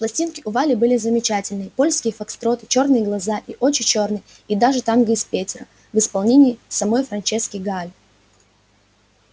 пластинки у вали были замечательные польские фокстроты чёрные глаза и очи чёрные и даже танго из петера в исполнении самой франчески гааль